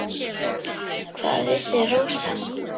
Hvað vissi Rósa.